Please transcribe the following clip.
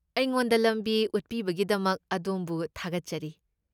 ꯑꯩꯉꯣꯟꯗ ꯂꯝꯕꯤ ꯎꯠꯄꯤꯕꯒꯤꯗꯃꯛ ꯑꯗꯣꯝꯕꯨ ꯊꯥꯒꯠꯆꯔꯤ꯫